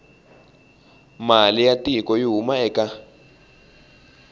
mali ya tiko yi huma eka